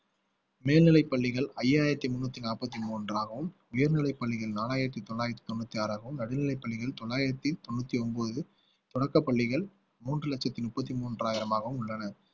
மேல்நிலைப்பள்ளிகள் ஐயாயிரத்தி முன்னூத்தி நாற்பத்தி மூன்றாகவும் உயர்நிலைப் பள்ளியில் நாலாயிரத்தி தொள்ளாயிரத்தி தொண்ணூத்தி ஆறாகவும் நடுநிலைப் பள்ளியில் தொள்ளாயிரத்தி தொண்ணூத்தி ஒன்பது தொடக்கப் பள்ளிகள் மூன்று லட்சத்து முப்பத்தி மூன்றாயிரமாகவும் உள்ளன